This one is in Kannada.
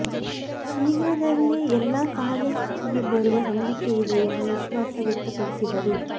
ಶೀಘ್ರದಲ್ಲೇ ಎಲ್ಲಾ ಸಹಜ ಸ್ಥಿತಿಗೆ ಬರುವ ನಂಬಿಕೆಯಿದೆ ಎಂಬ ವಿಶ್ವಾಸ ವ್ಯಕ್ತಪಡಿಸಿದರು